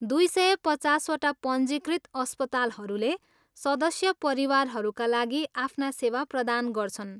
दुई सय पचासवटा पञ्जीकृत अस्पतालहरूले सदस्य परिवारहरूका लागि आफ्ना सेवा प्रदान गर्छन्।